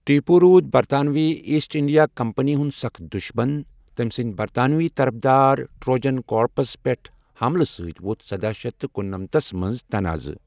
ٹیپوٗ روٗد برطانوی East India Company ہُند سخت دشمن ، تٔمۍ سٕندۍ برطانوی طرفدار ٹروجن کارپس پٮ۪ٹھ حملہٕ سۭتۍ ووٚتھ سداہ شٮ۪تھ کنٛنمتھس منز تناعہٕ ۔